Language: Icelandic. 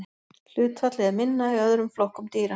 hlutfallið er minna í öðrum flokkum dýra